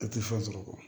E tɛ fɛn sɔrɔ